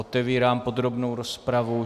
Otevírám podrobnou rozpravu.